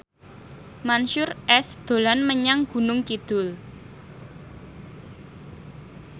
Mansyur S dolan menyang Gunung Kidul